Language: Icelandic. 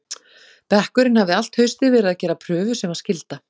Bekkurinn hafði allt haustið verið að gera prufu sem var skylda.